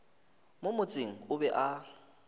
mo motseng o be a